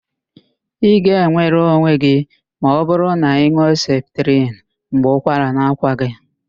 Ị ga-enwere onwe gị ma ọbụrụ na ị nụọ septrin mgbe ụkwara na-akwa gị.